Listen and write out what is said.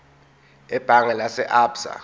ebhange lase absa